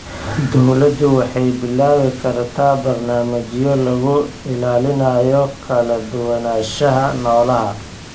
Dawladdu waxay bilaabi kartaa barnaamijyo lagu ilaalinayo kala duwanaanshaha noolaha.